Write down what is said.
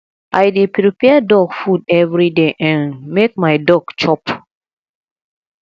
i dey prepare dog food everyday um make my dog chop